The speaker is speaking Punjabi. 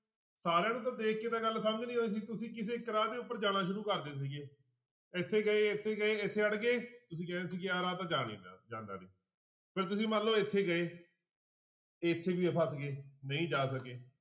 ਸਾਰਿਆਂ ਨੂੰ ਤਾਂ ਦੇਖ ਕੇ ਤਾਂ ਗੱਲ ਸਮਝ ਨੀ ਆਉਂਦੀ ਸੀ ਤੁਸੀਂ ਕਿਸੇ ਇੱਕ ਰਾਹ ਦੇ ਉੱਪਰ ਜਾਣਾ ਸ਼ੁਰੂ ਕਰਦੇ ਸੀਗੇ ਇੱਥੇ ਗਏ ਇੱਥੇ ਗਏ ਇੱਥੇ ਅੜ ਗਏ ਤੁਸੀਂ ਕਹਿੰਦੇ ਸੀ ਕਿ ਆਹ ਰਾਹ ਤਾਂ ਜਾ ਨੀ ਰਿਹਾ ਜਾਂਦਾ ਨੀ, ਫਿਰ ਤੁਸੀਂ ਮੰਨ ਲਓ ਇੱਥੇ ਗਏ ਇੱਥੇ ਵੀ ਫਸ ਗਏ ਨਹੀਂ ਜਾ ਸਕੇ।